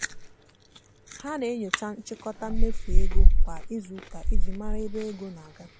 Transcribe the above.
ha na-enyocha nchịkọta mmefu ego kwa izuụka iji mara ebe ego na-aga.